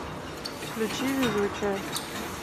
включи везучая